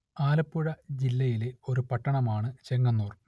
ആലപ്പുഴ ജില്ലയിലെ ഒരു പട്ടണം ആണ് ചെങ്ങന്നൂർ